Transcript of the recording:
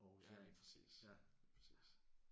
Ja lige præcis lige præcis